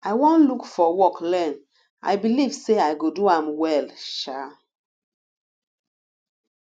i wan look for work learn i believe say i go do well um